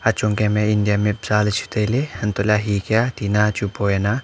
achon kemya india map janley chu tailey antoh laley hekya tina chu boya aa.